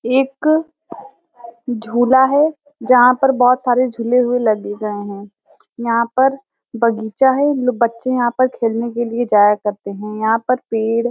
एक झूला है जहाँ पर बहोत सारे झूले हुए लग ही रहे है। यहाँ पर बगीचा है। बच्चे यहाँ पर खेलने के लिए जाया करते हैं। यहाँ पर पेड़--